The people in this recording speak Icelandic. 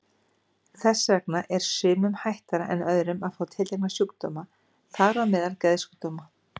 Þess vegna er sumum hættara en öðrum að fá tiltekna sjúkdóma, þar á meðal geðsjúkdóma.